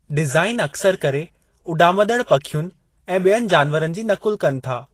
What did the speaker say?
Design अक्सरि करे उॾामंदड़ पखियुनि ऐं ॿियनि जानवरन जी नक़ुल कनि था।